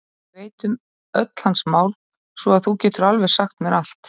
Ég veit um öll hans mál svo að þú getur alveg sagt mér allt.